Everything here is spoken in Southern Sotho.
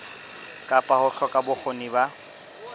kapa ho hloka bokgoni ba